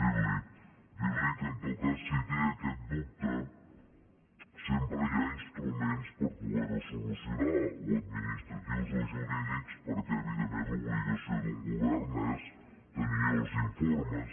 dir li que en tot cas si té aquest dubte sempre hi ha instruments per poder ho solucionar o administratius o jurídics perquè evidentment l’obligació d’un govern és tenir els informes